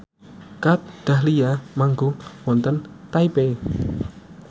Kat Dahlia manggung wonten Taipei